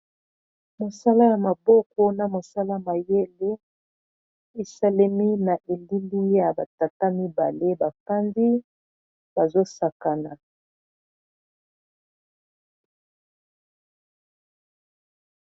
Mosala ya maboko na mosala mayele esalemi na elili ya ba tata mibale bafanzi bazo sakana.